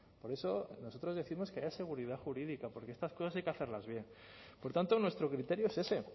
por eso nosotros décimos que haya seguridad jurídica porque estas cosas hay que hacerlas bien por tanto nuestro criterio es ese